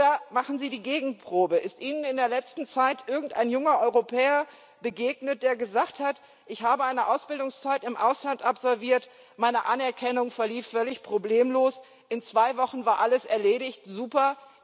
Oder machen Sie die Gegenprobe Ist Ihnen in letzter Zeit irgendein junger Europäer begegnet, der gesagt hat Ich habe eine Ausbildungszeit im Ausland verbracht, meine Anerkennung verlief völlig problemlos, in zwei Wochen war alles erledigt, super!?